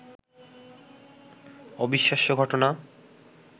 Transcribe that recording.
অবিশ্বাস্য ঘটনা